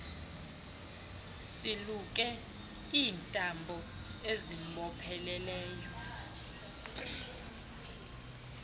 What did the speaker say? siluke iintambo siziboophelele